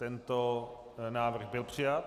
Tento návrh byl přijat.